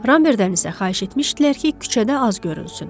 Ramberdən isə xahiş etmişdilər ki, küçədə az görünsün.